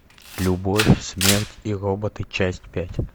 любовь смерть и роботы часть пять